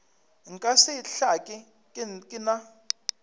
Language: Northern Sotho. nka se hlake ke na